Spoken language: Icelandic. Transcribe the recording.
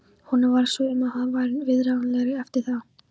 Honum varð svo um að hann varð viðráðanlegri eftir það.